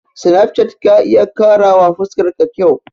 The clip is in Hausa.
Sinafcat ka iya ƙarawa fuskar ka kyau.